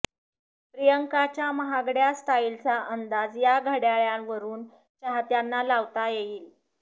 प्रियंकांच्या महागड्या स्टाईलचा अंदाज या घड्याळावरून चाहत्यांना लावता येईल